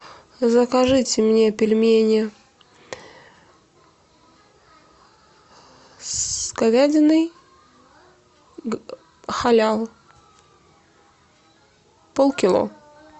закажите мне пельмени с говядиной халял полкило